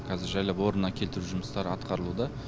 қазір жайлап орнына келтіру жұмыстары атқарылуда